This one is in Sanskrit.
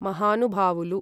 महानुभावुलु